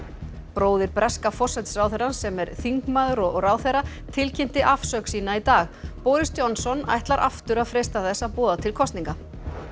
bróðir breska forsætisráðherrans sem er þingmaður og ráðherra tilkynnti afsögn sína í dag boris Johnson ætlar aftur að freista þess að boða til kosninga